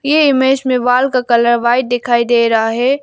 ये इमेज में वॉल का कलर व्हाइट दिखाई दे रहा है।